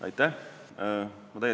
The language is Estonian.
Aitäh!